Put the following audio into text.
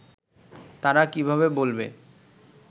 তারা কিভাবে বলবে